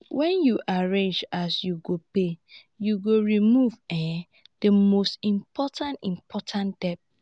wen yu arrange as you go pay yu go remove um the most important important debt